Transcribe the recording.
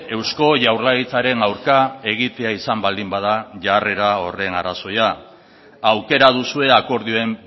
eusko jaurlaritzaren aurka egitea izan baldin bada jarrera horren arrazoia aukera duzue akordioen